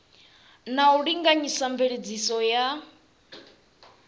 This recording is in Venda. na u linganyisa mveledziso ya